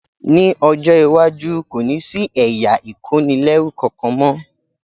Ní ọjọ́ iwájú, kò ní sí ẹ̀yà ìkónilẹ́rú kankan mọ́